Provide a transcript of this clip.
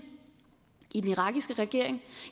i den irakiske regering